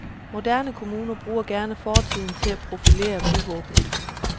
Moderne kommuner bruger gerne fortiden til at profilere byvåbenet.